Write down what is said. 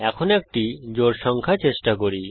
এখন একটি জোড় সংখ্যা চেষ্টা করি